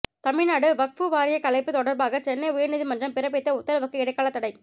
தமிழ்நாடு வக்ஃபு வாரிய கலைப்பு தொடர்பாக சென்னை உயர்நீதிமன்றம் பிறபித்த உத்தரவுக்கு இடைக்கால தடை